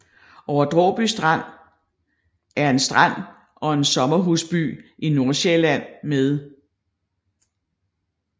Over Dråby Strand er en strand og en sommerhusby i Nordsjælland med